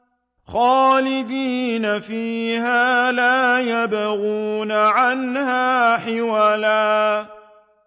خَالِدِينَ فِيهَا لَا يَبْغُونَ عَنْهَا حِوَلًا